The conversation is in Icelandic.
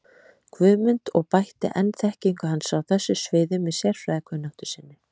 Guðmund og bætti enn þekkingu hans á þessu sviði með sérfræðikunnáttu sinni.